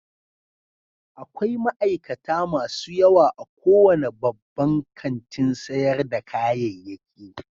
Akwai ma'aikata masu yawa a kowane babban kantin sayar da kayayyaki